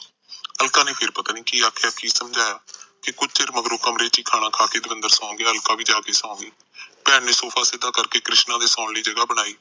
ਅਲਕਾ ਨੇ ਫੇਰ ਪਤਾ ਨਹੀਂ ਕਿ ਆਖਿਆ ਕਿ ਸਮਜਾਯਾ ਤੇ ਕੁਝ ਚਿਰ ਮਗਰੋ ਕਮਰੇ ਚੇ ਖਾਣਾ ਖਾਕੇ ਦਵਿੰਦਰਬ ਸੋ ਗਿਆ ਅਲਕਾ ਵੀ ਜਾ ਸੋ ਗਈ ਭੈਣ ਨੇ ਸੋਫਾ ਸਿਧਾ ਕਰਕੇ ਕ੍ਰਿਸ਼ਨਾ ਦੇ ਸੋਣ ਲਈ ਜਗਾਹ ਬਣਾਈ